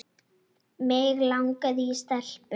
Mig langaði í stelpu.